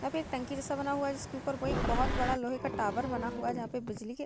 यहाँ पे एक टंकी जैसा बना हुआ है जिसके उपर वो एक बहुत बड़ा लोहे का टॉवर बना हुआ है जहाँ पे बिजली के --